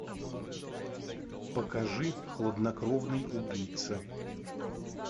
покажи хладнокровный убийца